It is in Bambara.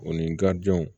O ni garidiɲɛw